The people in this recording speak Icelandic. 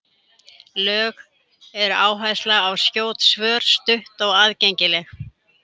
Lögð er áhersla á skjót svör, stutt og aðgengileg.